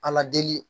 Ala deli